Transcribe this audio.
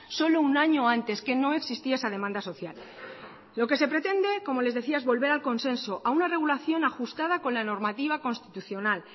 solo un año antes que no existía esa demanda social lo que se pretende como les decía es volver al consenso a una regulación ajustada con la normativa constitucional